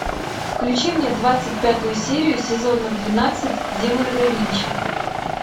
включи мне двадцать пятую серию сезона двенадцать демоны да винчи